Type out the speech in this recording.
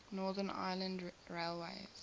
northern ireland railways